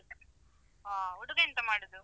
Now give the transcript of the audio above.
ಅಹ್ ಹುಡುಗ ಎಂತ ಮಾಡುದು?